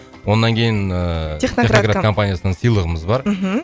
оннан кейін ыыы техноград компаниясынан сыйлығымыз бар мхм